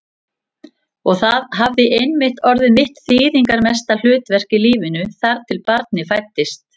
Og það hafði einmitt orðið mitt þýðingarmesta hlutverk í lífinu, þar til barnið fæddist.